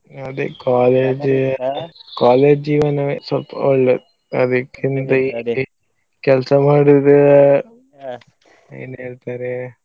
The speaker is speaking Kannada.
ಅದೇ college college ಜೀವನವೇ ಸ್ವಲ್ಪ ಒಳ್ಳೇದು ಅದಕ್ಕೆ ಕೆಲ್ಸ ಮಾಡುದು ಏನ್ಹೇಳ್ತಾರೆ.